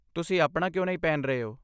ਤੁਸੀਂ ਆਪਣਾ ਕਿਉਂ ਨਹੀਂ ਪਹਿਨ ਰਹੇ ਹੋ?